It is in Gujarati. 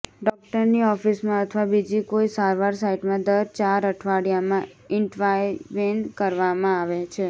ડોકટરની ઓફિસમાં અથવા બીજી કોઈ સારવાર સાઇટમાં દર ચાર અઠવાડિયામાં ઇન્ટવાયવેન કરવામાં આવે છે